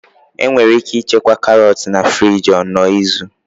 Enwere ike ịchekwa karot na friji onuu izu.